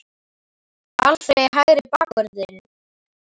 Alfreð í hægri bakvörðinn?